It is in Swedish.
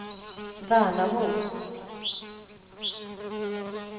Värnamo